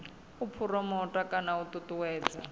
u phuromotha kana u ṱuṱuwedza